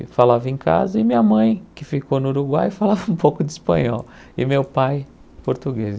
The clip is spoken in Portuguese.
E falava em casa, e minha mãe, que ficou no Uruguai, falava um pouco de espanhol, e meu pai, português.